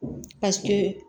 Paseke